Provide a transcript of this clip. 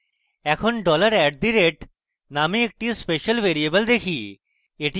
এখন dollar at দ rate নামে একটি অন্য special ভ্যারিয়েবল দেখি